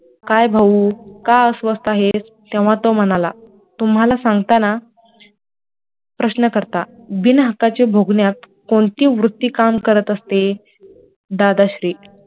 काय भाऊ का अस्वस्थ आहेस तेव्हा तो म्हणाला तुम्हाला सांगताना, प्रशकर्ता, बिन हक्काचे भोगण्यात कोणती वृत्ती काम करत असते, दादाश्री,